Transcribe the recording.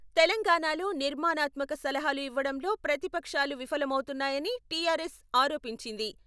తెలంగాణాలో నిర్మాణాత్మక సలహాలు ఇవ్వడంలో ప్రతిపక్షాలు విఫలమవుతున్నాయని టి.ఆర్.ఎస్ ఆరోపించింది.